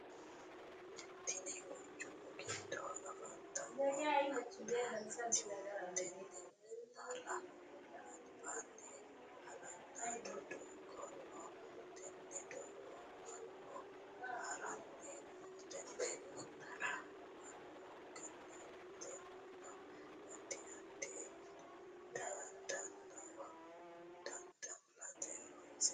Tinni quchumu gido afantano minnaati. Tenne minnara albaanni hala'lado doogo no. Tenne doogora Manu haranni no. Tenne minara Manu galatenna addi addi dadallo dada'late horoonsirano.